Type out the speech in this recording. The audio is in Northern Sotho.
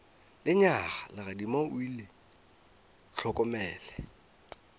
lenyaga legadima o le hlokomele